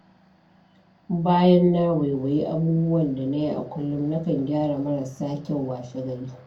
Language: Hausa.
Bayan na waiwayi abubuwan da na yi a kullum, nakan gyara marasa kyau washe-gari.